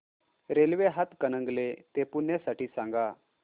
railway Hatkanangle ते पुणे साठी सांगा